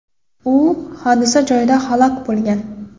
U hodisa joyida halok bo‘lgan.